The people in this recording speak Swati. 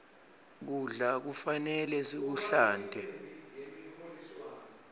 kudla kufanele sikuhlante